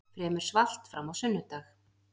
Fremur svalt fram á sunnudag